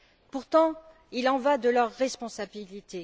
Pourtant, il y va de leur responsabilité!